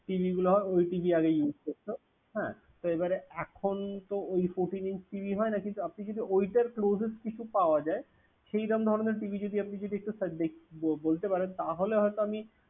TV গুলা ওই TV আগে use করতো তো এবারে এখন তো ওই fourteen inch TV হয় না, কিন্তু আপনি যদি ওইটার closes কিছু পাওয়া যায় সেইরাম ধরনের TV যদি আপনি একটু ব~ বলতে পারেন তাহলে হয়ত আমি